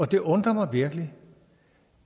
det undrer mig virkelig